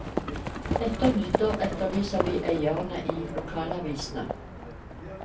Etter nyttår etterlyser vi eierne i lokalavisene.